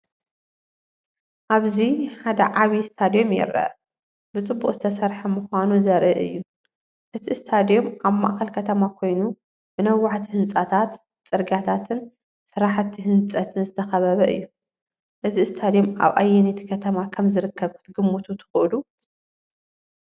ኣብዚ ሓደ ዓቢ ስታድዩም ይርአ፣ ብፅቡቅ ዝተሰርሐ ምኳኑ ዘርኢ እዩ። እቲ ስታድዩም ኣብ ማእከል ከተማ ኮይኑ፡ ብነዋሕቲ ህንጻታት፡ ጽርግያታትን ስራሕቲ ህንጸትን ዝተኸበበ እዩ። እዚ ስታድዩም ኣብ ኣየነይቲ ከተማ ከም ዝርከብ ክትግምቱ ትኽእሉ?